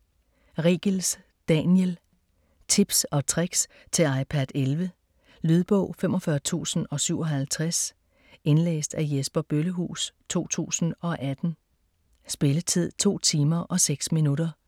Riegels, Daniel: Tips & tricks til iPad 11 Lydbog 45057 Indlæst af Jesper Bøllehuus, 2018. Spilletid: 2 timer, 6 minutter.